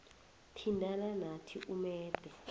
thintana nathi umebhe